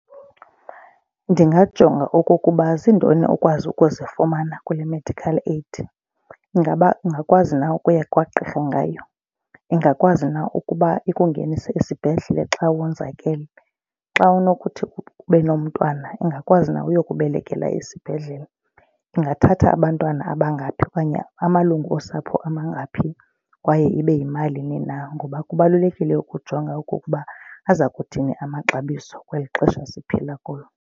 Ndingajonga okokuba zintoni ukwazi ukuzifumana kule medical aid. Ingaba ungakwazi na ukuya kwagqirha ngayo? Ingakwazi na ukuba ikungenise esibhedlele xa wonzakele? Xa unokuthi ube nomntwana ingakwazi na uyokubelekela esibhedlele? Ingathatha abantwana abangaphi okanye amalungu osapho amangaphi kwaye ibe yimalini na ngoba kubalulekile ukujonga okukuba aza kuthini amaxabiso kweli xesha siphila kulo.